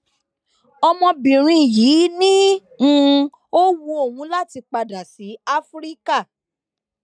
ọmọbìnrin yìí ni um ó wu òun láti padà sí áfíríkà